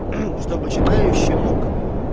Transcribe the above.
чтобы читающий мог